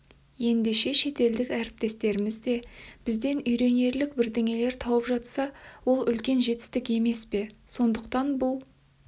ендеше шетелдік әріптестеріміз де бізден үйренерлік бірдеңелер тауып жатса ол үлкен жетістік емес пе сондықтан бұл